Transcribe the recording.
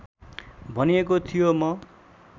भनिएको थियो म